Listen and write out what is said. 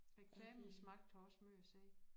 Reklamens magt har også måj at sige